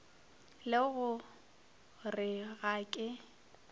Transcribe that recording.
le go re ga ke